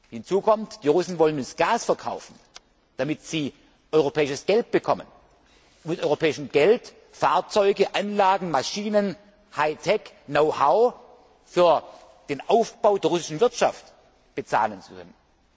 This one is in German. Hinzu kommt Die Russen wollen uns Gas verkaufen, damit sie europäisches Geld bekommen, um mit europäischem Geld Fahrzeuge, Anlagen, Maschinen, Hightech, Know how für den Aufbau der russischen Wirtschaft bezahlen zu können.